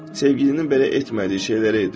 Sevgilinin belə etmədiyi şeyləri edir.